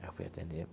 Aí eu fui atender.